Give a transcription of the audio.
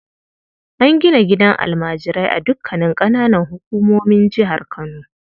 An gina gidan almajirai a dukanin ƙananan hukumomin jihar Kano.